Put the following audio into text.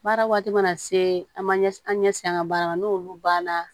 Baara waati mana se an ma an ɲɛsin an ka baara la n'olu banna